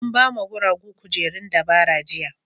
An ba ma guragu kujerun dabara jiya.